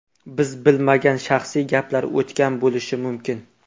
Biz bilmagan shaxsiy gaplar o‘tgan bo‘lishi mumkin.